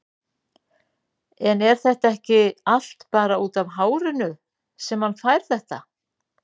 En er þetta ekki allt bara útaf hárinu sem hann fær þetta?